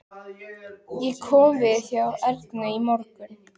Ég kom við hjá Ernu í morgun.